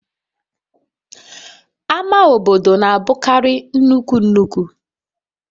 Ama obodo na-abụkarị nnukwu nnukwu